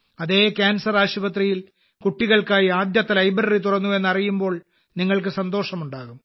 അതേ ക്യാൻസർ ആശുപത്രിയിൽ കുട്ടികൾക്കായി ആദ്യത്തെ ലൈബ്രറി തുറന്നു എന്നറിയുമ്പോൾ നിങ്ങൾക്ക് സന്തോഷം ഉണ്ടാകും